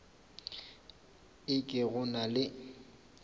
e ke go na le